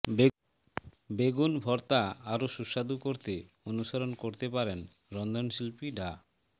বেগুন ভর্তা আরও সুস্বাদু করতে অনুসরণ করতে পারেন রন্ধনশিল্পী ডা